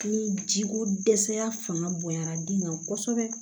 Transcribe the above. Ni ji ko dɛsɛya fanga bonyana den kan kosɛbɛ